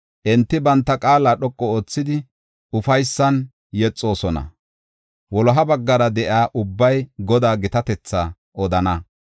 Enti banta qaala dhoqu oothidi, ufaysan yexoosona; wuloha baggara de7iya ubbay Godaa gitatetha odana.